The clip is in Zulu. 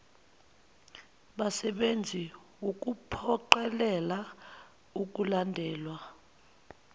basebenzi wukuphoqelela ukulandelwa